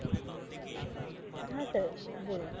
হ্যাঁ sir, ব~ বলুন।